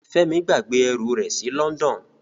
Femi gbàgbé ẹrú rẹ sí London.